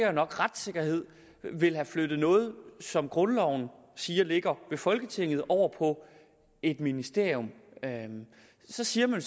er nok retssikkerhed vil have flyttet noget som grundloven siger ligger ved folketinget over på et ministerium så siger man